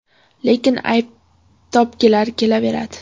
Lekin ayb topgilari kelaveradi.